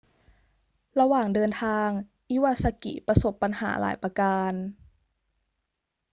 ระหว่างเดินทาง อิวาซากิประสบปัญหาหลายประการ